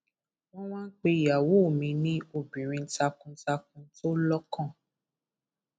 wọn wá ń pe ìyàwó mi ní obìnrin takuntakun tó lọkàn